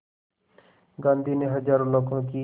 गांधी ने हज़ारों लोगों की